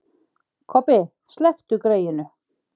Kobbi, slepptu greyinu.